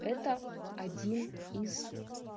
это один из